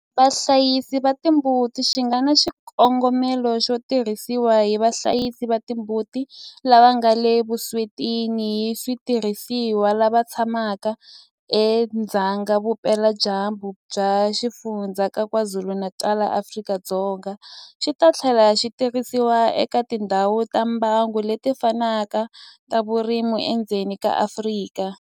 Vahlayisi va timbuti xi nga na xikongomelo xo tirhisiwa hi vahlayisi va timbuti lava nga le vuswetini hi switirhisiwa lava tshamaka edzonga vupeladyambu bya Xifundzha xa KwaZulu-Natal eAfrika-Dzonga, xi ta tlhela xi tirhisiwa eka tindhawu ta mbango leti fanaka ta vurimi edzongeni wa Afrika.